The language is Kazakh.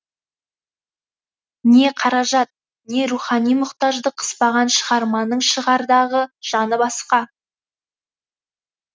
не қаражат не рухани мұқтаждық қыспаған шығарманың шығардағы жаны басқа